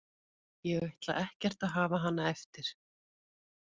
Ég ætla ekkert að hafa hana eftir.